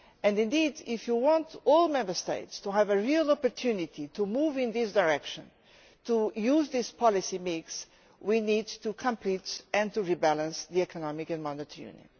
Indeed, if you want all Member States to have a real opportunity to move in this direction, to use this policy mix, we need to complete and rebalance the Economic and Monetary Union.